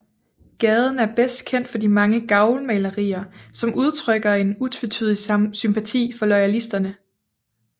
Gaden er bedst kendt for de mange gavlmalerier som udtrykker en utvetydig sympati for loyalisterne